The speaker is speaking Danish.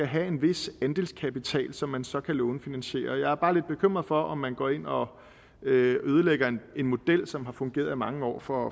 have en vis andelskapital som man så kan lånefinansiere jeg er bare lidt bekymret for om man går ind og ødelægger en model som har fungeret i mange år for